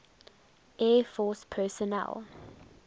air force personnel